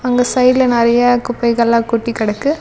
அங்க சைட்ல நெறைய குப்பைகள்லா கொட்டி கடக்கு.